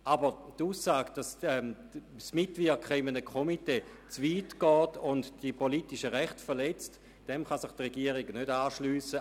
Aber der Aussage, dass das Mitwirken in einem Komitee zu weit gehe und die politischen Rechte verletze, kann sich der Regierungsrat nicht anschliessen.